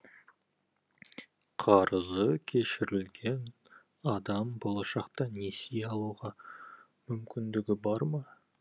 қарызы кешірілген адам болашақта несие алуға мүмкіндігі бар ма